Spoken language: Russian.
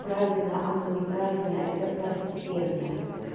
правильно она неправильно это второстепенная